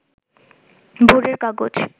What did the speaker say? ভোরের কাগজ